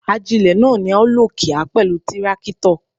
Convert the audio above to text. Ajílẹ̀ náà ni a ó lò kíá pẹ̀lú tírákítọ̀.